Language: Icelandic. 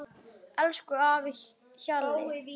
Elsku afi Hjalli.